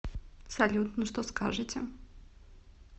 салют ну что скажете